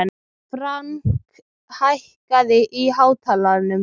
Frank, hækkaðu í hátalaranum.